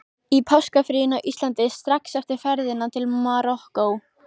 Í páskafríinu á Íslandi, strax eftir ferðina til Marokkó.